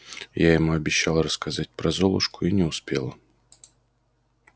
я ему обещала рассказать про золушку и не успела